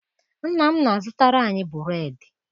Nna m na-azụtara anyị bụreedị.